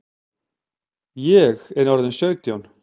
Ég er orðin sautján!